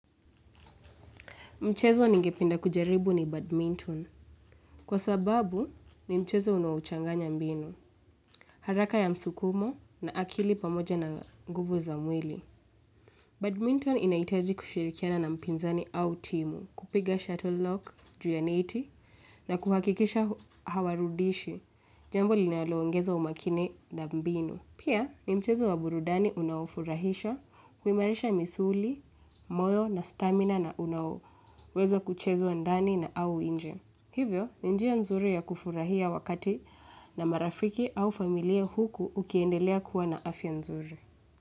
Mchezo nigependa kujaribu ni badminton kwa sababu ni mchezo unaochanganya mbinu, haraka ya msukumo na akili pamoja na nguvu za mwili. Badminton inahitaji kushirikiana na mpinzani au timu, kupiga shuttle lock, juu ya neti na kuhakikisha hawarudishi jambo linaloongeza umakini na mbinu. Pia, ni mchezo wa burudani unaifurahisha, huimarisha misuli, moyo na stamina na unaoweza kuchezwa ndani na au inje. Hivyo, ni njia nzuri ya kufurahia wakati na marafiki au familia huku ukiendelea kuwa na afya nzuri.